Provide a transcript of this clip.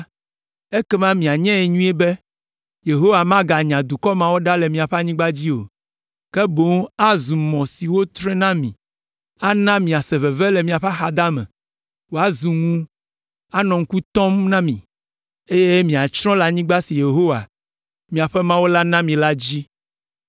ekema minyae nyuie be, Yehowa maganya dukɔ mawo ɖa le miaƒe anyigba dzi o, ke boŋ azu mɔ si wotre na mi, ana miase veve le miaƒe axadame, wòazu ŋu anɔ ŋku tɔm na mi, eye miatsrɔ̃ le anyigba si Yehowa, miaƒe Mawu la na mi la dzi.